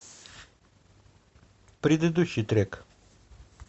предыдущий трек